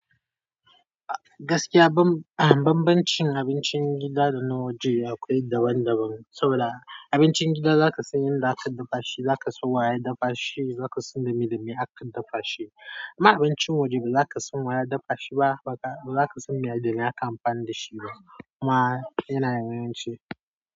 Gaskiya ban, banbancin abincin gida da na waje akwai daban daban, saboda abincin gida zaka san yadda aka dafa shi, zaka san waye ya dafa shi, zaka san dame dame aka dafa shi. Amma abincin waje ba zaka san waye ya dafa shi ba, baka ba zaka san me da me aka yi amfani da shi ba. Amma yana da yawanci.